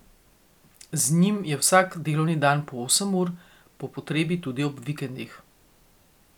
Z njim je vsak delovni dan po osem ur, po potrebi tudi ob vikendih.